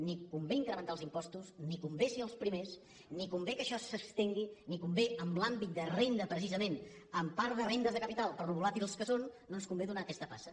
ni convé incrementar els impostos ni convé ser els primers ni convé que això s’estengui ni convé en l’àmbit de renda precisament en part de rendes de capital per com són de volàtils no ens convé donar aquesta passa